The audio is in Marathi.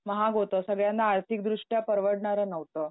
महाग होतं, सगळ्यांना आर्थिकदृष्ट्या परवडणारं नव्हतं.